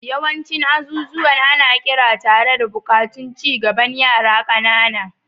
Yawancin azuzuwan ana ƙira tare da buƙatun ci gaban yara ƙanana.